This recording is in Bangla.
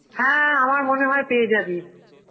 হ্যাঁ, আমার মনে হয় পেয়ে যাবি.